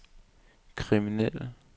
kriminelle